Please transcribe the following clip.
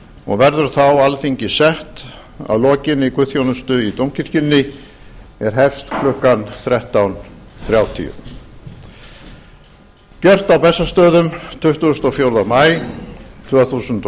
og verður þá alþingi sett að lokinni guðsþjónustu í dómkirkjunni er hefst klukkan þrettán þrjátíu gjört á bessastöðum tuttugasta og fjórða maí tvö þúsund og